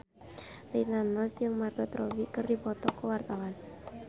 Rina Nose jeung Margot Robbie keur dipoto ku wartawan